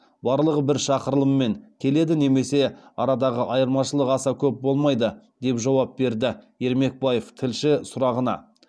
барлығы бір шақырылыммен келеді немесе арадағы айырмашылық аса көп болмайды деп жауап берді ермекбаев тілші сұрағына